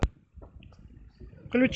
включи